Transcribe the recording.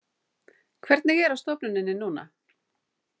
Hvernig er á stofnuninni núna?